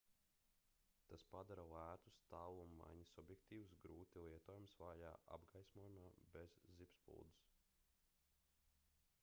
tas padara lētus tālummaiņas objektīvus grūti lietojamus vājā apgaismojumā bez zibspuldzes